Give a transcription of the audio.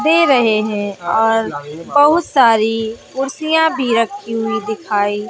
दे रहे हैं और बहुत सारी कुर्सियां भी रखी हुई दिखाई--